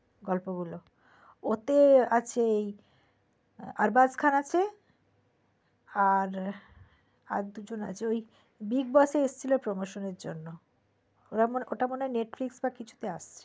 গল্পগুলো ওতেই আছে আর্বাস খান আছে আর দুজন আছে ওই Bigg Boss এ এসেছিলো promotion এর জন্য ওটা মনে হয় netflix বা কিছুতে আসছে